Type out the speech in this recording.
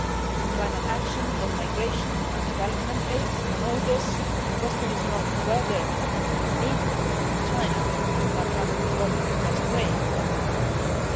On climate action, on migration, on development aid, on all this the question is not whether we need to engage with China but rather, what is the best way to do